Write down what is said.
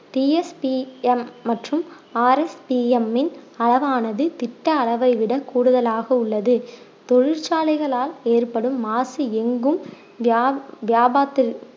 TSPM மற்றும் RSPM இன் அளவானது திட்ட அளவை விட கூடுதலாக உள்ளது தொழிற்சாலைகளால் ஏற்படும் மாசு எங்கும் வியா~ வியாபாத்~